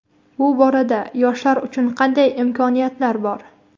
Bu borada yoshlar uchun qanday imkoniyatlar bor?.